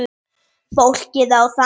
Fólkið á þá.